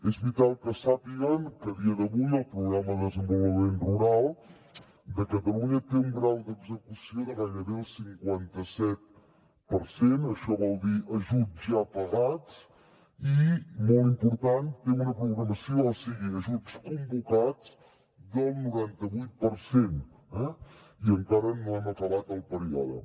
és vital que sàpiguen que a dia d’avui el programa de desenvolupament rural de catalunya té un grau d’execució de gairebé el cinquanta set per cent això vol dir ajuts ja pagats i molt important té una programació o sigui ajuts convocats del noranta vuit per cent i encara no hem acabat el període